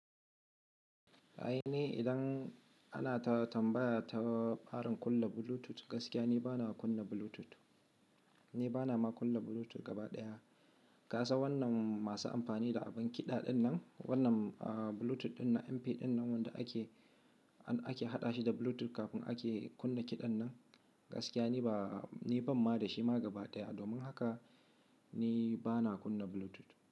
A'a ni idan ana ta tambaya ta tsarin kunna Bluetooth gaskiya ni bana kunna Bluetooth. Ni bana ma kunna Bluetooth gaba ɗaya. Ka san wannan masu amfani da abin kiɗa wannan, wannan Bluetooth ɗinnan MP ɗinnan wanda ake, ake haɗa shi da Bluetooth kafin ake kunna kiɗan nan gaskiya ni ba, ni ban ma da shi ma gaba ɗaya. Domin haka ni bana kunna Bluetooth.